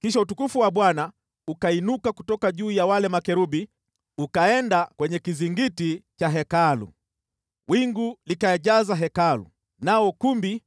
Kisha utukufu wa Bwana ukainuka kutoka juu ya wale makerubi ukaenda kwenye kizingiti cha Hekalu. Wingu likajaza Hekalu, nao ukumbi